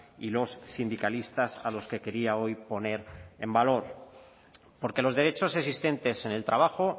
y los sindicalistas a los que quería hoy poner en valor porque los derechos existentes en el trabajo